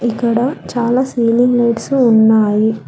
ఇక్కడ చాలా ceiling lights ఉన్నాయి.